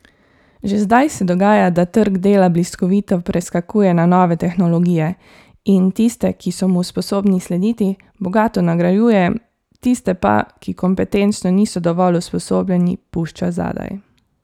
Že zdaj se dogaja, da trg dela bliskovito preskakuje na nove tehnologije in tiste, ki so mu sposobni slediti, bogato nagrajuje, tiste pa, ki kompetenčno niso dovolj usposobljeni, pušča zadaj.